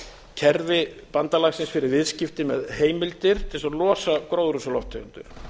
kerfi bandalagsins fyrir viðskipti með heimildir til þess að losa gróðurhúsalofttegundir